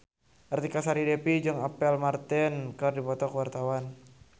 Artika Sari Devi jeung Apple Martin keur dipoto ku wartawan